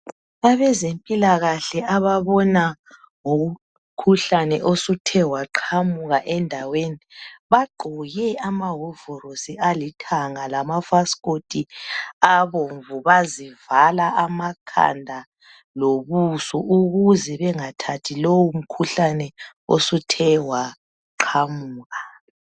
Abezempilakahle ababona ngomkhuhlane osuthe waqhamuka endaweni. Bagqoke amahovolosi alithanga. Lamafasikoti abomvu. Bazivala amakhanda lobuso uKuze bangathathi lomkhuhlane, osuthe waqhamuka.